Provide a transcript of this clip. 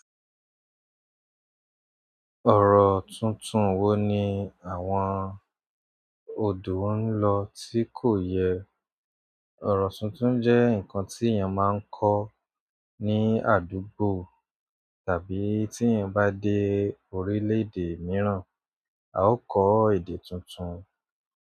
Ọ̀rọ̀ tuntun wo ni àwọn odò ń lọ tí kò yẹ. Ọrọ tuntun jẹ nǹkan tí èèyàn máa ń kọ ní àdúgbò tàbí tí èèyàn bá dé orilẹ-ede míràn a ó kọ èdè tuntun.